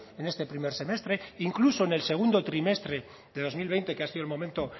en este primer semestre incluso en el segundo trimestre de dos mil veinte que ha sido el momento